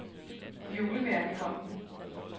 Julemærkefonden